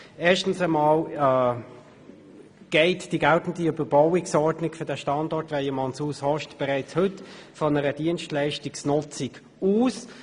Erstens geht die geltende Überbauungsordnung für den Standort Weyermannshaus Ost bereits heute von einer Dienstleistungsnutzung aus.